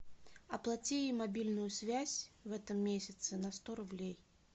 оплати мобильную связь в этом месяце на сто рублей